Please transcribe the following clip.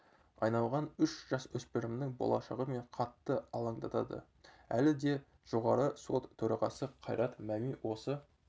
айналған үш жасөспірімнің болашағы мені қатты алаңдатады әлі де жоғарғы сот төрағасы қайрат мәми осы